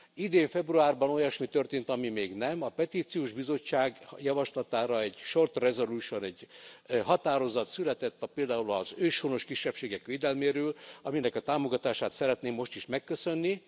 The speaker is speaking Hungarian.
Idén februárban olyasmi történt, ami még nem a Petíciós Bizottság javaslatára egy short resolution, egy határozat született a például az őshonos kisebbségek védelméről, aminek a támogatását szeretném most is megköszönni!